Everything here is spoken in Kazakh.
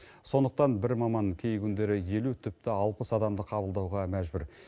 сондықтан бір маман кей күндері елу тіпті алпыс адамды қабылдауға мәжбүр